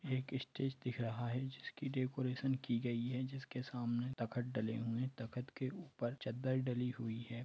एक स्टेज दिख रहा है उस की डेकोरेशन की गयी हैं जिस के सामने तकत डले हुए हैं तकत के ऊपर चदर डली हुई हैं।